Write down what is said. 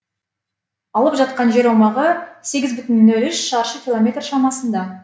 алып жатқан жер аумағы сегіз бүтін нөл үш шаршы километр шамасында